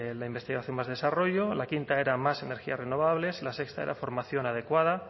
la investigación más desarrollo la quinta era más energías renovables la sexta era formación adecuada